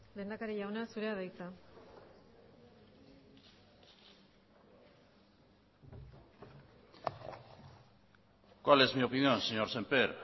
lehendakari jauna zurea da hitza cuál es mi opinión señor sémper